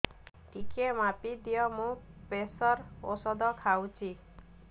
ଟିକେ ମାପିଦିଅ ମୁଁ ପ୍ରେସର ଔଷଧ ଖାଉଚି